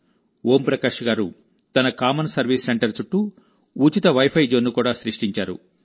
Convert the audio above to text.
ఓం ప్రకాష్ గారు తన common service centre చుట్టూ ఉచిత వైఫై జోన్ను కూడా సృష్టించారు